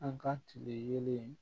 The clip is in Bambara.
An ka tile yeelen